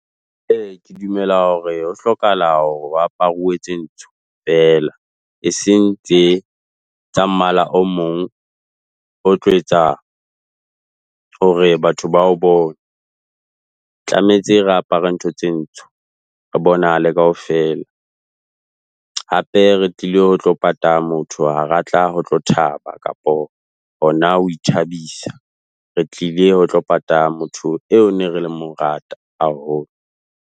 E, ke dumela hore ho hlokahala hore ho aparuwe tse ntsho fela. Eseng tse tsa mmala o mong o tlo etsa hore batho ba o bone. Tlametse re apare ntho tse ntsho. Re bonahale kaofela. Hape re tlile ho tlo pata motho, ha re a tla ho tlo thaba kapo hona ho ithabisa. Re tlile ho tlo pata motho eo ne re le mo rata haholo.